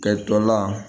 Kɛ dɔ la